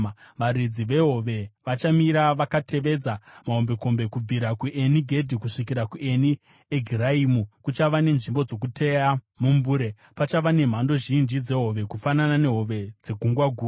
Varedzi vehove vachamira vakatevedza mahombekombe; kubvira kuEni Gedhi kusvikira kuEni Egiraimu kuchava nenzvimbo dzokuteya mumbure. Pachava nemhando zhinji dzehove, kufanana nehove dzeGungwa Guru.